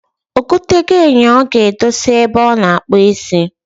Ogo tego enyo o ga edosi ebe o na akpu isi.